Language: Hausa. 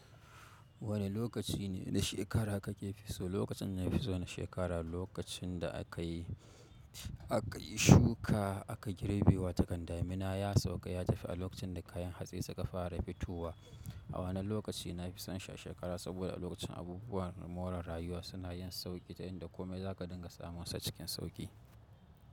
Wane lokaci ne na shekara kake fi so? Lokacin da na fi so na shekara lokacin da aka yi shuka aka girbe wa takarda. Mina ya sauka ya tafi a lokacin da kayan hatsi suka fara fitowa. A wannan lokaci na fi son shi a shekara saboda a lokacin abubuwan more rayuwa suna yin sauƙi ta hanyar da komai zaka dinga samunsa cikin sauƙi.